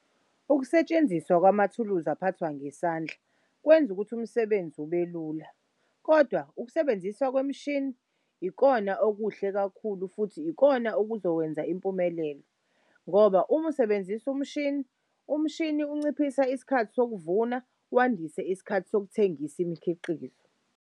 Ukusetshenziswa kwamathuluzi aphathwa ngesandla kwenz'ukuthi umsebenzi ubelula, kodwa ukusebenziswa kwemishini ikona okuhle kakhulu futhi ikona okuzokwenza impumelelo ngoba uma usebenzisa umshini, umshini unciphisa isikhathi sokuvuna wandise isikhathi sokuthengisa imikhiqizo.